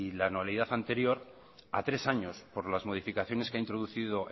la anualidad anterior a tres años por las modificaciones que ha introducido